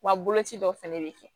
Wa boloci dɔ fɛnɛ bɛ kɛ